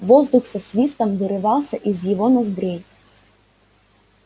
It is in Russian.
воздух со свистом вырывался из его ноздрей